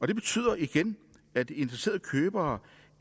det betyder igen at interesserede købere